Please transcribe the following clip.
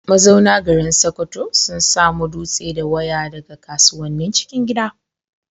Mazauna garin Sokoto sun samo dutse da waya daga kasuwannin cikin gida.